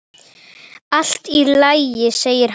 Allt í lagi, segir hann.